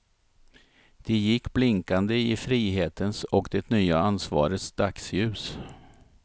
De gick blinkande i frihetens och det nya ansvarets dagsljus.